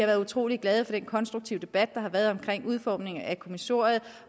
været utrolig glade for den konstruktive debat der har været i udformningen af kommissoriet